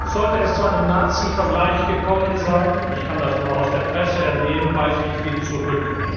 Sollte es zu einem Nazivergleich gekommen sein ich kann das nur aus der Presse entnehmen weise ich den zurück.